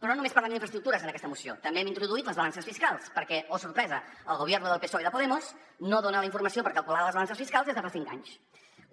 però no només parlem d’infraestructures en aquesta moció també hi hem introduït les balances fiscals perquè oh sorpresa el gobierno del psoe i de podemos no dona la informació per calcular les balances fiscals des de fa cinc anys